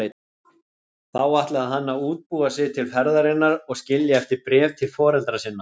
Þá ætlaði hann að útbúa sig til ferðarinnar og skilja eftir bréf til foreldra sinna.